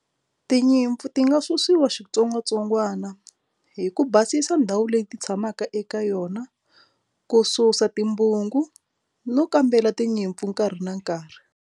Tinyimpfu ti nga susiwa xitsongwatsongwana hi ku basisa ndhawu leyi ti tshamaka eka yona ku susa timbungu no kambela tinyimpfu nkarhi na nkarhi.